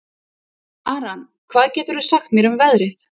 Aran, hvað geturðu sagt mér um veðrið?